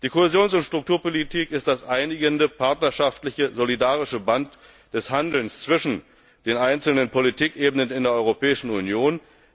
Die Kohäsions und Strukturpolitik ist das einigende, partnerschaftliche, solidarische Band des Handelns zwischen den einzelnen Politikebenen in der Europäischen Union.